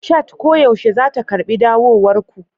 Chat koyaushe za ta karɓi dawowar ku.